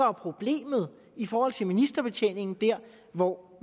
er problemet i forhold til ministerbetjeningen hvor